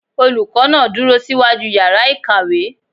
Olùkọ́ náà dúró síwájú yàrá ìkàwé.